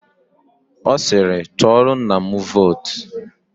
Ọ siiri, tụọrọ nna m vootu.